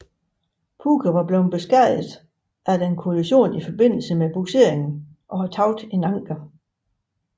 Puke var beskadiget efter en kollision i forbindelse med bugsering og havde tabt et anker